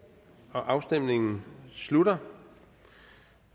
afstemningen slutter